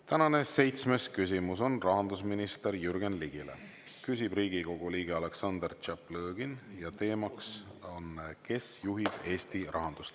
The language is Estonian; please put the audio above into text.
Tänane seitsmes küsimus on rahandusminister Jürgen Ligile, küsib Riigikogu liige Aleksandr Tšaplõgin ja küsimus on selle kohta, kes juhib Eesti rahandust.